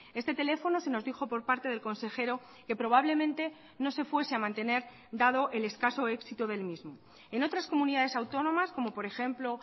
este teléfono se nos dijo por parte del consejero que probablemente no se fuese a mantener dado el escaso éxito del mismo en otras comunidades autónomas como por ejemplo